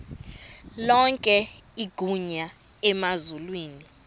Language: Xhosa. lonke igunya emazulwini